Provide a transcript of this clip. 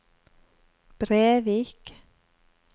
Brevik